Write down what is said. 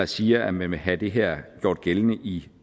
siger at man vil have det her gjort gældende i